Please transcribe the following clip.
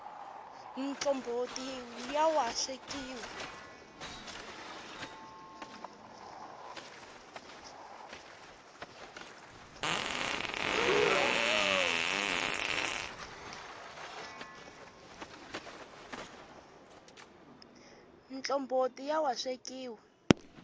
mtlomboti ya wa swekiwa